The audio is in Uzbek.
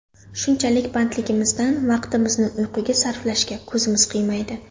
Shunchalik bandligimizdan vaqtimizni uyquga sarflashga ko‘zimiz qiymaydi.